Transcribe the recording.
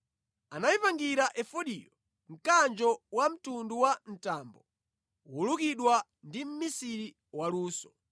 Anayipangira efodiyo mkanjo wamtundu wa mtambo, wolukidwa ndi mmisiri waluso.